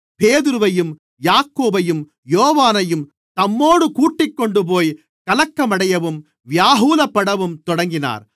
பேதுருவையும் யாக்கோபையும் யோவானையும் தம்மோடு கூட்டிக்கொண்டுபோய் கலக்கமடையவும் வியாகுலப்படவும் தொடங்கினார்